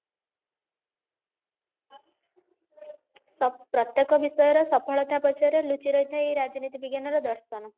ସ ପ୍ରତ୍ୟକ ବିଷୟର ସଫଳତା ପଛରେ ଲୁଚି ରହିଥାଏ ଏଇ ରାଜନୀତି ବିଜ୍ଞାନର ଦର୍ଶନ